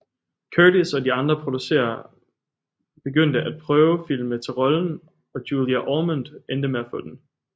Curtis og de andre producerer begyndte at prøvefilme til rollen og Julia Ormond endte med at få den